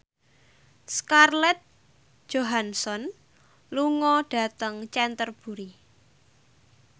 Scarlett Johansson lunga dhateng Canterbury